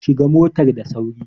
Shiga motar da sauri!